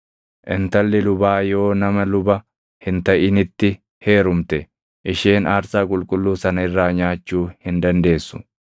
Intalli lubaa yoo nama luba hin taʼinitti heerumte, isheen aarsaa qulqulluu sana irraa nyaachuu hin dandeessu.